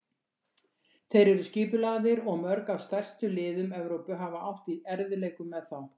Þeir eru skipulagðir og mörg af stærstu liðum Evrópu hafa átt í erfiðleikum með þá.